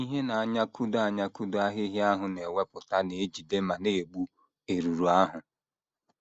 Ihe na - anyakụdo anyakụdo ahịhịa ahụ na - ewepụta na - ejide ma na - egbu erùrù ahụ.